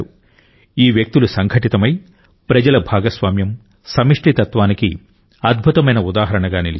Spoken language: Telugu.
ఈ వ్యక్తులు సంఘటితమై ప్రజల భాగస్వామ్యం సమష్టితత్వానికి అద్భుతమైన ఉదాహరణగా నిలిచారు